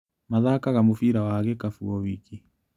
Mathakaga mũbira wa gĩkabu o wiki.